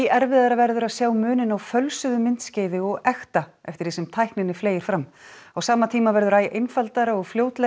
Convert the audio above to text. erfiðara verður að sjá muninn á fölsuðu myndskeiði og ekta eftir því sem tækninni fleygir fram á sama tíma verður æ einfaldara og fljótlegra